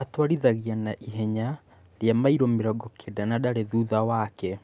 Atwarithagia na ihenya rĩa mairũmĩrongo Kenda na ndarĩ thutha wake .